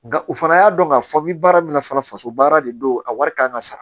Nka u fana y'a dɔn k'a fɔ i bɛ baara min na fana faso baara de don a wari kan ka sara